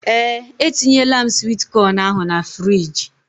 Ee etinyela m swit con ahụ na fruidge.